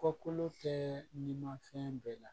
Kɔkolo kɛ ni ma fɛn bɛɛ la